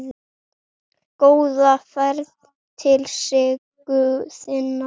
Góða ferð til Siggu þinnar.